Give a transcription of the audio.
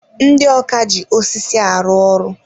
Ndị ọkà ji osisi arụ ọrụ.